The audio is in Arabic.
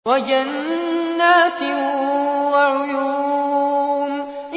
وَجَنَّاتٍ وَعُيُونٍ